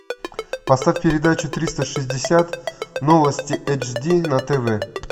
поставь передачу триста шестьдесят новости эйч ди на тв